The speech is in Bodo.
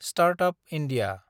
start-up India